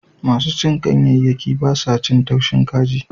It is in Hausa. Masu cin ganyayyaki ba sa cin taushin kaji.